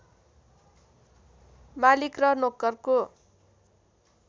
मालिक र नोकरको